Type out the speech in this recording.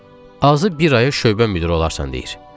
Azı bir aya şöbə müdiri olarsan deyir.